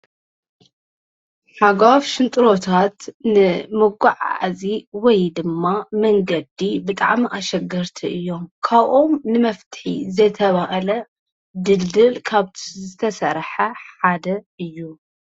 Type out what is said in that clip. ሓጓፍ ሽንጥሮታት ንመጓዓዓዚ ወይ ድማ መንገዲ ብጣዕሚ ኣሸገርቲ እዮም ።ካብኦም ንመፍትሒ ዝተብሃለ ድልድል ካብቲ ዝተሰርሐ ሓደ እዩ።